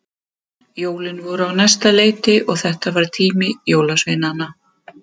Jólin voru á næsta leiti og þetta var tími jólasveinanna.